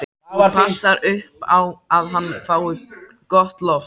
Þú passar upp á að hann fái gott loft.